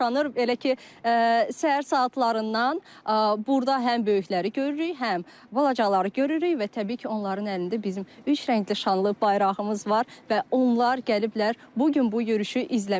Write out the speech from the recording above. Belə ki, səhər saatlarından burda həm böyükləri görürük, həm balacaları görürük və təbii ki, onların əlində bizim üç rəngli şanlı bayrağımız var və onlar gəliblər bu gün bu yürüşü izləməyə.